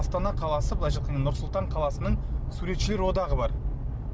астана қаласы былайша айтқанда нұр сұлтан қаласының суретшілер одағы бар